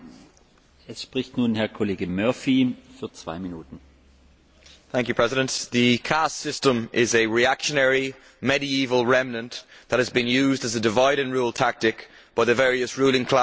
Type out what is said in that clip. Mr President, the caste system is a reactionary, medieval remnant that has been used as a divide and rule tactic by the various ruling classes in India throughout the centuries.